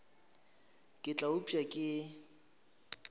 ka ke tla upša ke